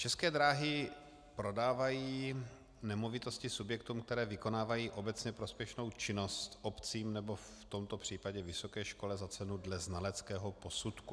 České dráhy prodávají nemovitosti subjektům, které vykonávají obecně prospěšnou činnost, obcím, nebo v tomto případě vysoké škole za cenu dle znaleckého posudku.